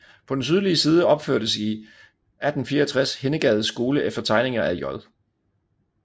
På den sydlige side opførtes i 1864 Hindegades Skole efter tegninger af J